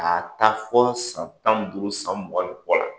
A taa fo san tan ni duuru san mugan ni kɔ la.